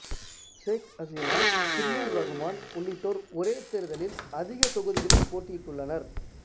சேக் அசீனா சில்லூர் இரகுமான் உள்ளிட்டோர் ஒரே தேர்தலில் அதிக தொகுதிகளில் போட்டியிட்டுள்ளனர்